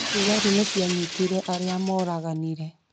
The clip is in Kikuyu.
Thigari nĩ cianyitĩre arĩa moraganire